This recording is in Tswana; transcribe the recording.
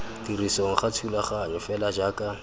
tirisong ga thulaganyo fela jaaka